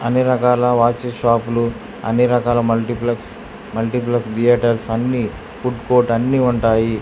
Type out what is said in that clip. అన్ని రకాల watch shop లు అన్ని రకాల మల్టీప్లెక్స్ మల్టీప్లెక్స్ థియేటర్స్ అన్నీ ఫుడ్ కోర్ట్ అన్నీ ఉంటాయి.